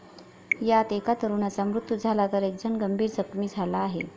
यात एका तरुणाचा मृत्यू झाला तर, एकजण गंभीर जखमी झाला आहे.